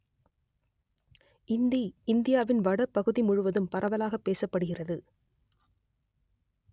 இந்தி இந்தியாவின் வட பகுதி முழுவதும் பரவலாக பேசப்படுகிறது